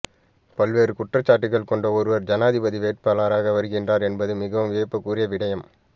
பல்வேறு குற்றச்சாட்டுக்கள் கொண்ட ஒருவர் ஜனாதிபதி வேட்பாளராக வருகின்றார் என்பது மிகவும் வியப்புக்குரிய விடயம்